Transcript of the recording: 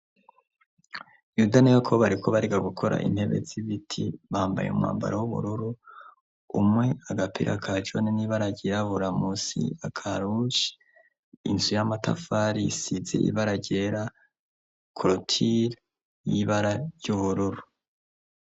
Yuda na Yakobo, bariko bariga gukora intebe z'ibiti, bambaye umwambaro w'ubururu, umwe agapira ka joni n'ibara ryirabura, musi akaruje, inzu y'amatafari isize ibara ryera, korotire y'ibara ry'ubururu.